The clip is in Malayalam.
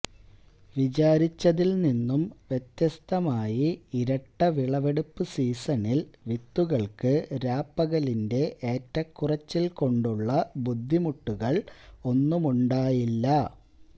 വിചാരിച്ചതിൽനിന്നും വ്യത്യസ്തമായി ഇരട്ടവിളവെടുപ്പു സീസണിൽ വിത്തുകൾക്ക് രാപകലിന്റെ ഏറ്റക്കുറച്ചിൽകൊണ്ടുള്ള ബുദ്ധിമുട്ടുകൾ ഒന്നുമുണ്ടായില്ല